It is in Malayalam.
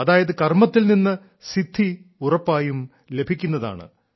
അതായത് കർമ്മത്തിൽ നിന്ന് സിദ്ധി ഉറപ്പായും ലഭിക്കുന്നതാണ്